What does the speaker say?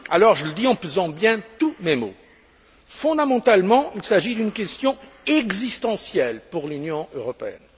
Je le dis en pesant bien tous mes mots fondamentalement, il s'agit d'une question existentielle pour l'Union européenne.